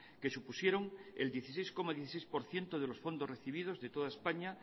que supusieron el dieciséis coma dieciséis por ciento de los fondos recibidos de toda españa